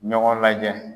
Ɲɔgɔn lajɛ